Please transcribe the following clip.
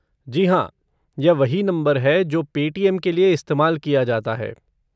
जी हाँ, यह वही नंबर है जो पेटीएम के लिए इस्तेमाल किया जाता है।